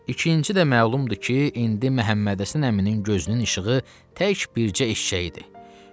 İkinci də məlumdur ki, indi Məhəmməd Həsən əminin gözünün işığı təkcə bircə eşşəyi idi.